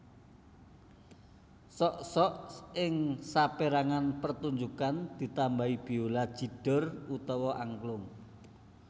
Sok sok ing sapérangan pertunjukan ditambahi biola jidor utawa angklung